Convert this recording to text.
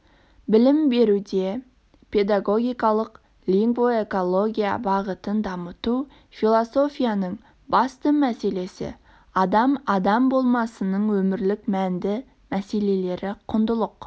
білім беруде педагогикалық лингвоэкология бағытын дамыту философияның басты мәселесі адам адам болмысының өмірлік мәнді мәселелері құндылық